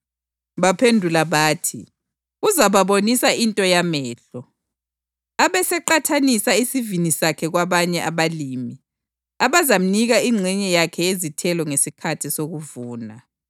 Baphendula bathi, “Uzababonisa into yamehlo, abeseqhatshisa isivini sakhe kwabanye abalimi abazamnika ingxenye yakhe yezithelo ngesikhathi sokuvuna.”